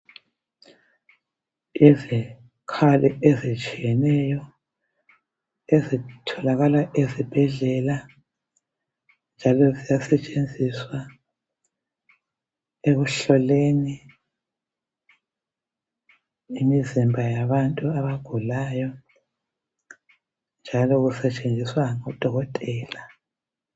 Izikhali ezitshiyeneyo ezitholakala ezibhedlela, njalo ziyasetshenziswa ekuhloleni imizimba yabantu abagulayo, njalo kusetshenziswa ngudokotela.